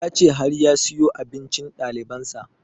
Ya ce har ya siyo abincin ɗaliban sa